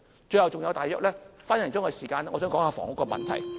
最後還有一分多鐘時間，我想說一說房屋問題。